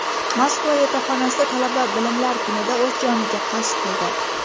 Moskva yotoqxonasida talaba Bilimlar kunida o‘z joniga qasd qildi.